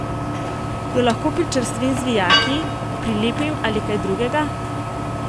Jo lahko pričvrstim z vijaki, prilepim ali kaj drugega?